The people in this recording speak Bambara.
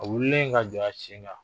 A wililen ka jɔ a sen kan